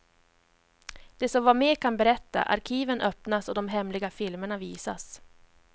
De som var med kan berätta, arkiven öppnas och de hemliga filmerna visas.